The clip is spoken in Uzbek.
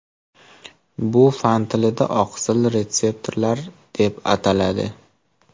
Bu fan tilida oqsil retseptorlar deb ataladi.